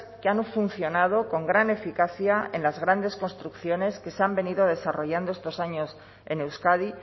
que han funcionado con gran eficacia en las grandes construcciones que se han venido desarrollando estos años en euskadi